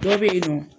Dɔ bɛ yen nɔ